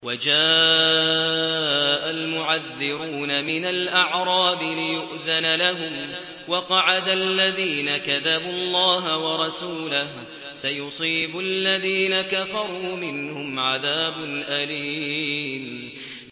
وَجَاءَ الْمُعَذِّرُونَ مِنَ الْأَعْرَابِ لِيُؤْذَنَ لَهُمْ وَقَعَدَ الَّذِينَ كَذَبُوا اللَّهَ وَرَسُولَهُ ۚ سَيُصِيبُ الَّذِينَ كَفَرُوا مِنْهُمْ عَذَابٌ أَلِيمٌ